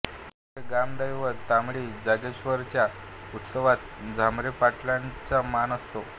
पुण्याचे ग्रामदैवत तांबडी जोगेश्वरीच्या उत्सवात झांबरे पाटलांचा मान असे